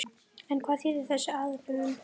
En hvað þýðir þessi aðlögun?